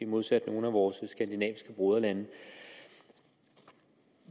modsat nogle af vores skandinaviske broderlande